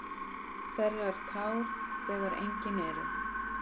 Á meðan þetta er bara.